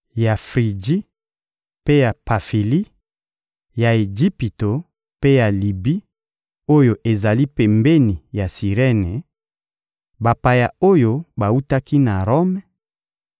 ya Friji mpe ya Pafili, ya Ejipito mpe ya Libi oyo ezali pembeni ya Sirene, bapaya oyo bawutaki na Rome,